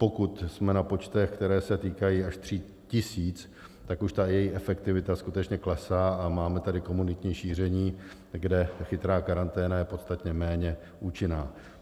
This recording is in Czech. Pokud jsme na počtech, které se týkají až 3 000, tak už ta její efektivita skutečně klesá a máme tady komunitní šíření, kde chytrá karanténa je podstatně méně účinná.